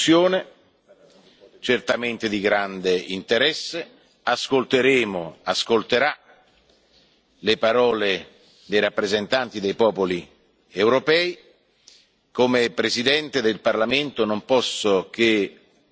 Lei ha fornito a quest'Aula molti spunti di riflessione, certamente di grande interesse ora ascolterà le parole dei rappresentanti dei popoli europei.